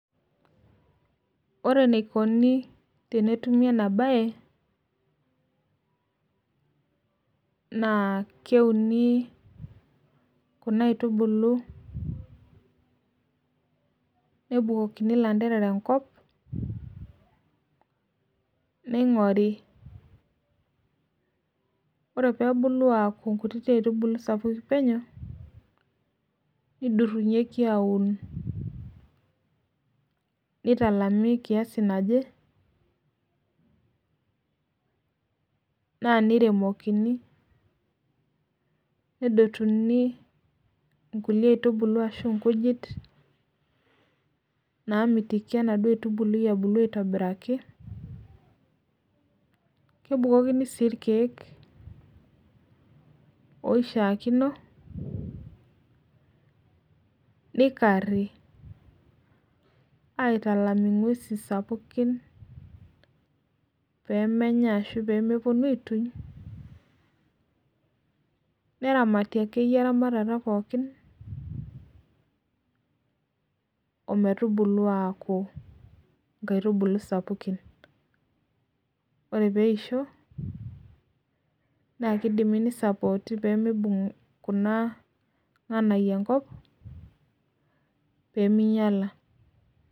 Ore neikoni tenetumi enabaye naa keuni kuna aitubulu, nebukokini lainterera enkop, neing'ori, ore peebulu aaku nkutiti aitubulu peneu, neidurunyeki aun, neitalami kiasi naje, naa naremokini, nedotunu inkule aitubulu ashu inkujit naamitiki enaduo aitubulu ebulu aitobiraki. Kebukokini sii irkiek oishaakino, neikarri, aitalam inguesi sapukin peemenya ashu peemeponu aituny, neramati ake iyie iramatata pookin, ometubulu aaku Inkaitubulu sapukin. Ore peishonaa keidim neisapooti pemeibung' kuna inganaiyo enkop pemeinyala.